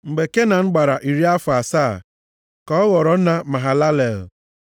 Mgbe Kenan gbara iri afọ asaa ka ọ ghọrọ nna Mahalalel.